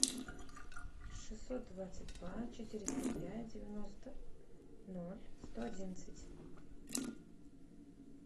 шестьсот двадцать два четыреста пять девяносто ноль сто одиннадцать